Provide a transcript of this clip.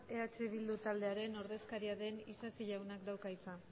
eh bildu taldearen ordezkaria den isasi jaunak dauka hitza